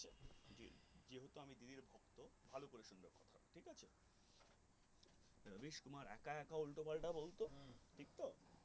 একা একা উল্টো-পাল্টা বকতো ঠিক তো